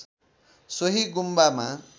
सोहि गुम्बामा